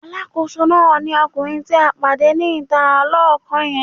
Alákòóso náà ni ọkùnrin tí a pàdé ní ìta lọ́kọ́ yẹn.